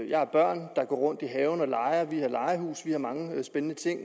jeg har børn der går rundt i haven og leger vi har legehus vi har mange spændende ting